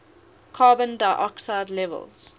carbon dioxide levels